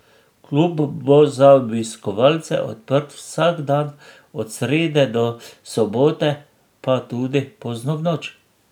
Klub bo za obiskovalce odprt vsak dan, od srede do sobote pa tudi pozno v noč.